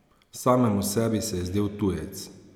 Samemu sebi se je zdel tujec.